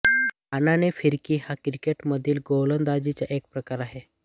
आननी फिरकी हा क्रिकेटमधील गोलंदाजीचा एक प्रकार आहे